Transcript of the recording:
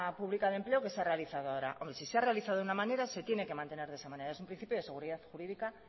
pública de empleo que se ha realizado ahora hombre si se ha realizado de una manera se tiene que mantener de esa manera es un principio de seguridad jurídica